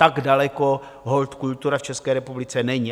Tak daleko holt kultura v České republice není.